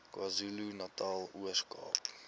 kwazulunatal ooskaap